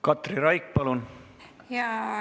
Katri Raik, palun!